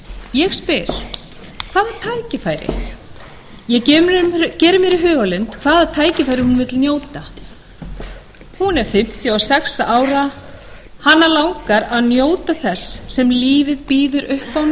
ég spyr hvaða tækifæri ég geri mér í hugarlund hvaða tækifæra hún vill njóta hún er fimmtíu og sex ára hana langar að njóta þess sem lífið býður upp á